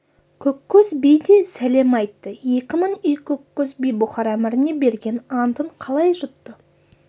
көккөз би де сәлем айтты екі мың үй көккөз би бұхар әміріне берген антын қалай жұтты